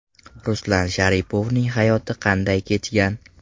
Ruslan Sharipovning hayoti qanday kechgan?.